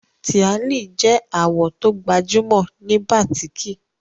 Tíàlì je àwò to gbajúmò ni batiki